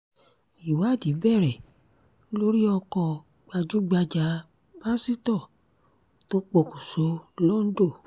ìwádìí bẹ̀rẹ̀ lórí ọkọ̀ gbajúgbajà pásítọ̀ tó pokùṣọ̀ londo